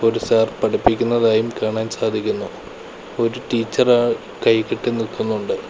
ഒരു സാർ പഠിപ്പിക്കുന്നതായും കാണാൻ സാധിക്കുന്നു ഒരു ടീച്ചറ് കൈകെട്ടി നിൽക്കുന്നൊണ്ട്.